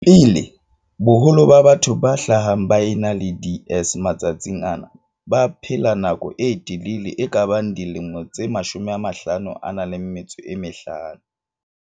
pele, boholo ba batho ba hlahang ba ena le DS matsatsing ana ba baphela nako e telele e kabang dilemo tse 55.